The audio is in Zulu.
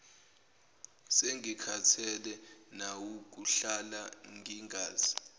sengikhathele nawukuhlala ngingazi